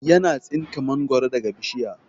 Yana tsinka mangoro daga bishiya